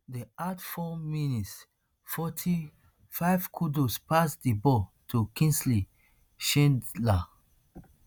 dem add four mins forty-fivekudus pass di ball to kingsley schindler